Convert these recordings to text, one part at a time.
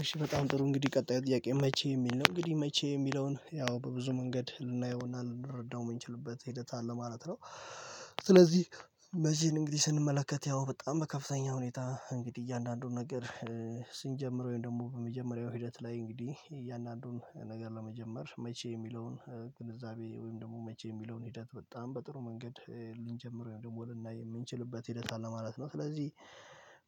እሺ በጣም ጥሩ እንግዲህ ቀጣዩ ጥያቄ መቼ የሚል ነው እንግዲህ መቼ የሚለውን ያው በብዙ መንገድ ልናየውና ልንረዳው የምንችልበት ሂደት አለ ማለት ነው። ስለዚህ በዚህን እንግዲህ ስንመለከት ያው በጣም በከፍተኛ ሁኔታ እንግዲህ እያንዳንዱን ነገር ስንጀምረው ወይም ደግሞ በመጀመሪያው ሂደት ላይ እንግዲህ እያንዳንዱን ነገር ለመጀመር መቼ የሚለውን ግንዛቤ ወይም ደግሞ መቼ የሚለውን ሂደት በጣም በጥሩ መንገድ ልንጀምረው ወይም ደግሞ ልናይ የምንችልበት ሂደት አለ ማለት ነው። ስለዚህ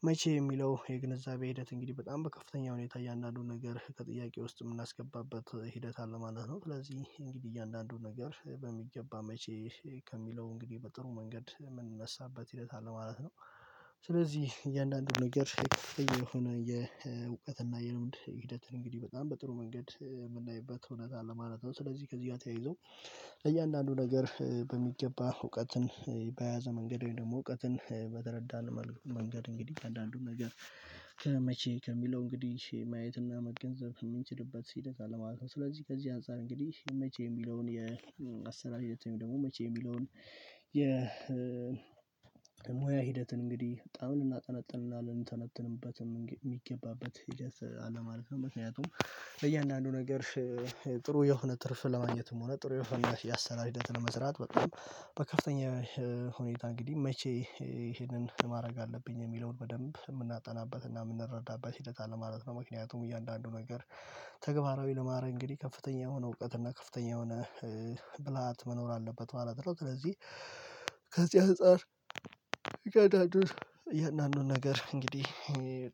መቼ የሚለው የግንዛቤ ሂደት እንግዲህ በጣም በከፍተኛ ሁኔታ እያንዳንዱን ነገር ከጥያቄ ውስጥ የምናስገባበት ሂደት አለ ማለት ነው። ስለዚህ እንግዲህ እያንዳንዱን ነገር በሚገባ መቼ ከሚለው እንግዲህ በጥሩ መንገድ የምንነሳበት ሂደት አለ ማለት ነው። ስለዚህ እያንዳንዱን ነገር ከፍተኛ የሆነ የእውቀት እና የልምድ ሂደትን እንግዲህ በጣም በጥሩ መንገድ የምናይበት እውነት አለ ማለት ነው። ስለዚህ ከዚህ ጋር ተያይዞ ለእያንዳንዱ ነገር በሚገባ እውቀትን በያዘ መንገድ ወይም ደግሞ እውቀትን በተረዳን መልኩ መንገድ እንግዲህ እያንዳንዱን ነገር ከመቼ ከሚለው እንግዲህ ማየትና መገንዘብ የምንችልበት ሂደት አለ ማለት ነው። ስለዚህ ከዚህ አንፃር እንግዲህ መቼ የሚለውን የአሰራር ሂደት ወይም ደግሞ መቼ የሚለውን የ ሙያ ሂደትን እንግዲህ በጣም ልናጥነጥንና የሚገባበት ሂደት አለ ማለት ነው። ምክንያቱም ለእያንዳንዱ ነገር ጥሩ የሆነ ትርፍ ለማግኘትም ሆነ ጥሩ የሆነ ያሰራር ሂደት ለመስራት በጣም በከፍተኛ የሆን ሁኔታ እንግዲህ መቼ ይሄንን ማድረግ አለብኝ የሚለውን በደንብ የምናጠነበትና የምንረዳበት ሂደት አለ ማለት ነው። ምክንያቱም እያንዳንዱ ነገር ተግባራዊ ለማረግ እንግዲህ ከፍተኛ የሆነ እውቀት እና ከፍተኛ የሆነ ብልሃት መኖር አለበት ማለት ነው። ስለዚህ ከዚህ አንፃር እያንዳንዱን ነገር እንግዲህ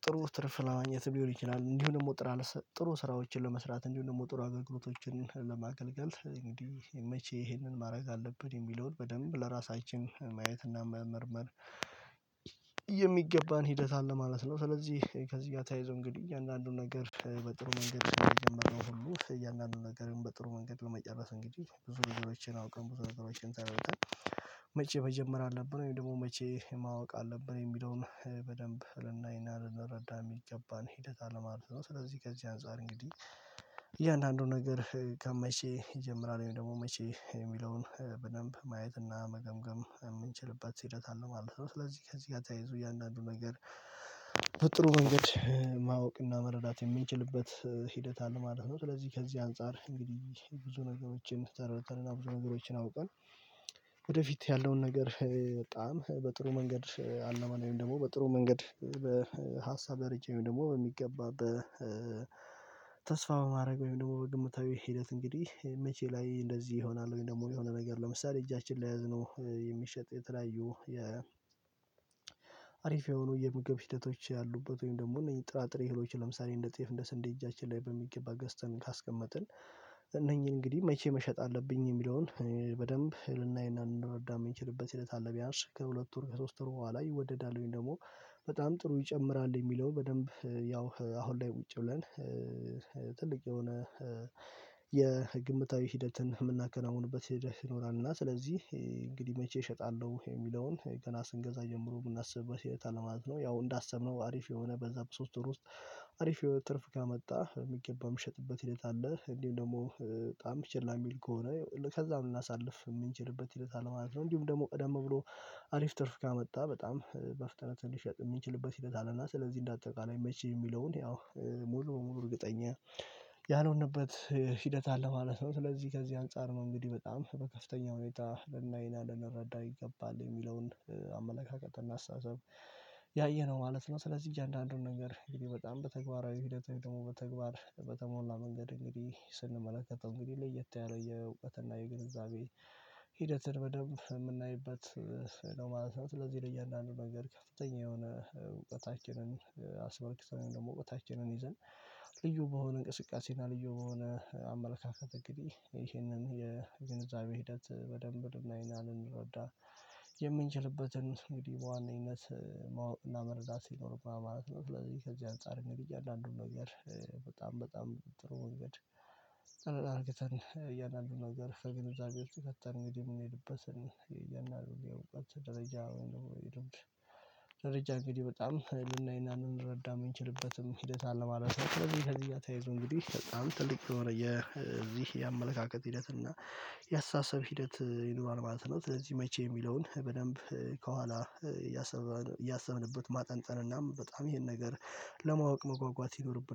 ጥሩ ትርፍ ለማግኘት ሊሆን ይችላል እንዲሁ ደግሞ ጥሩ ስራዎችን ለመስራት እንዲሁም ደግሞ ጥሩ አገልግሎቶችን ለማገልገል እንግዲህ መቼ ይሄንን ማድረግ አለብን የሚለውን በደንብ ለራሳችን ማየት እና መመርመር የሚገባን ሂደት አለ ማለት ነው። ስለዚህ ከዚህ ጋር ተያይዞ እንግዲህ እያንዳንዱን ነገር በጥሩ መንገድ እንደጀመርነው ሁሉ እያንዳንዱን ነገርም በጥሩ መንገድ በመጨረስ እንግዲህ ብዙ ነገሮችን አውቀን ብዙ ነገሮችን ተረድተን መቼ መጀመር አለብን ወይም ደግሞ መቼ ማወቅ አለብን የሚለውን በደንብ ልናይና ልንረዳ የሚገባን ሂደት አለማለት ነው። ስለዚህ ከዚህ አንፃር እንግዲህ እያንዳንዱን ነገር ከመቼ ይጀምራል ወይም ደግሞ መቼ የሚለውን በደንብ ማየትና መገምገም የምንችልበት ሂደት አለ ማለት ነው። ስለዚህ ከዚህ ጋር ተያይዞ እያንዳንዱ ነገር በጥሩ መንገድ ማወቅና መረዳት የምንችልበት ሂደት አለ ማለት ነው። ስለዚህ ከዚህ አንፃር እንግዲህ ብዙ ነገሮችን ተርድተንና ብዙ ነገሮችን አውቀን ወደፊት ያለውን ነገር በጣም በጥሩ መንገድ አልመን ወይም ደግሞ በጥሩ መንገድ በሀሳብ ደረጃ ወይም ደግሞ በሚገባ ተስፋ በማድረግ ወይም ደግሞ በግምታዊ ሂደት እንግዲህ መቼ ላይ እንደዚህ ይሆናል። ወይም ደግሞ የሆነ ነገር ለምሳሌ እጃችን ላይ የያዝነው የሚሸጥ የተለያዩ አሪፍ የሆኑ የምግብ ሂደቶች ያሉበት ወይም ደግሞ እነዚህ ጥራጥሬ እህሎች ለምሳሌ እንደ ጤፍ እንደ ስንዴ እጃችን ላይ በሚገባ ገዝተን ካስቀመጥን። እነኚህን እንግዲህ መቼ መሸጥ አለብኝ የሚለውን በደንብ ልናይና ልንረዳ የምንችልበት ሂደት አለ ቢያንስ ከሁለት ወር ከሶስት ወር በኋላ ይወደዳል ወይም ደግሞ በጣም ጥሩ ይጨምራል የሚለው በደንብ ያው አሁን ላይ ቁጭ ብለን ትልቅ የሆነ የግምታዊ ሂደትን የምናከናውንበት ሂደት ይኖራል። እና ስለዚህ እንግዲህ መቼ እሸጣለሁ የሚለውን ገና ስንገዛ ጀምሮ ብናስብ መቼ ይሸጣል ለማለት ነው። ያው እንዳሰብነው አሪፍ የሆነ በዛ በሶስት ወር ውስጥ አሪፍ የሆነ ትርፍ ካመጣ በሚገባ የሚሸጥበት ሂደት አለ። እንዲሁም ደግሞ በጣም ችላ የሚል ከሆነ ከዛም ልናሳልፍ የምንችልበት ሂደት አለ ማለት ነው። እንዲሁም ደግሞ ቀደም ብሎ አሪፍ ትርፍ ካመጣ በጣም በፍጥነት እንዲሸጥ የሚችልበት ሂደት አለና ስለዚህ እንደ አጠቃላይ መቼ የሚለውን ያው ሙሉ በሙሉ እርግጠኛ ያልሆንበት ሂደት አለ ማለት ነው። ስለዚህ ከዚህ አንፃር ነው እንግዲህ በጣም በከፍተኛ ሁኔታ ልናይና ልንረዳ ይገባል የሚለውን አመለካከት እና አስተሳሰብ ያየነው ማለት ነው። ስለዚህ እያንዳንዱን ነገር በጣም በተግባራዊ ሂደት ወይም ደግሞ በተግባር በተሞላ መንገድ እንግዲህ ስንመለከተው እንግዲህ ለየት ያለ የእውቀት የግንዛቤ ሂደትን በደንብ የምናይበት ነው ማለት ነው። ስለዚህ ለእያንዳንዱ ነገር ከፍተኛ የሆነ እውቀታችንን አስመልክተን ደግሞ እውቀታችንን ይዘን ልዩ በሆነ እንቅስቃሴና ልዩ በሆነ አመለካከት እንግዲህ ይሄንን የግንዛቤ ሂደት በደንብ ልናይና ልንረዳ የምንችልበትን እንግዲህ በዋነኘነት ማወቅ እና መረዳት ይኖርብናል ማለት ነው። ስለዚህ ከዚህ አንፃር እያንዳንዱን ነገር በጣም በጣም ጥሩ መንገድ እያንዳንዱን ነገር ከግንዛቤ ውስጥ ከተን እንግዲህ የምንሄድበትን እያንዳንዱን የእውቀት ደረጃ ወይም ደግሞ እንግዲህ በጣም ልናይና ልንረዳ የምንችልበትም ሂደት አለ ማለት ነው። ስለዚህ ከዚህ ጋር ተያይዞ እንግዲህ በጣም ጥልቅ የሆነ የዚህ የአመለካከት ሂደት እና የአስተሳሰብ ሂደት ይኖራል ማለት ነው። ስለዚህ መቼ የሚለውን በደንብ ከኋላ እያሰመርን እያሰብንበት ማጠንጠንናም በጣም ይሄን ነገር ለማወቅ መጓጓት ይኖርብናል